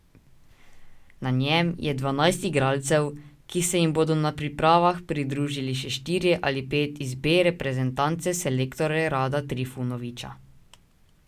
Na njem je dvanajst igralcev, ki se jim bodo na pripravah pridružili še štirje ali pet iz B reprezentance selektorja Rada Trifunovića.